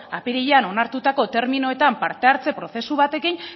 apirilean onartutako terminoetan partehartze prozesu batekin